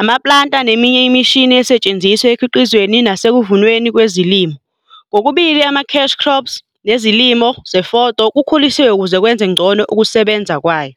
Ama-planter neminye imishini esetshenziswa ekukhiqizeni nasekuvunweni kwezilimo, kokubili ama-cash crops, nezilimo zefoda kukhulisiwe ukuze kwenze ngcono ukusebenza kwayo.